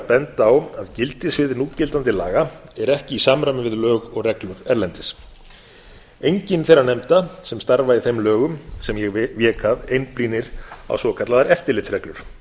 benda á að gildissvið núgildandi laga er ekki í samræmi við lög og reglur erlendis engin þeirra nefnda sem starfa í þeim lögum sem ég vék að einblínir á svokallaðar eftirlitsreglur